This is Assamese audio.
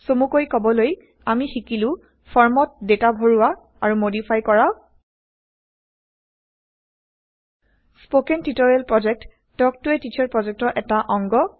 চমুকৈ কবলৈ আমি শিকিলো ফৰ্মত ডেটা ভৰোৱা আৰু মডিফাই কৰা spoken tutorial project talk to a teacher প্ৰজেক্টৰ এটা অংশ